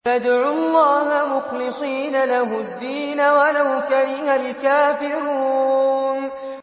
فَادْعُوا اللَّهَ مُخْلِصِينَ لَهُ الدِّينَ وَلَوْ كَرِهَ الْكَافِرُونَ